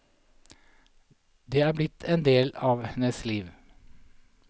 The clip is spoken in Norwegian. Den er blitt en del av hennes liv.